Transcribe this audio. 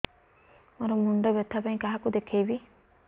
ମୋର ମୁଣ୍ଡ ବ୍ୟଥା ପାଇଁ କାହାକୁ ଦେଖେଇବି